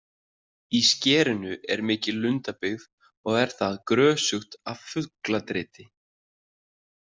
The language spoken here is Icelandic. Í skerinu er mikil lundabyggð og er það grösugt af fugladriti.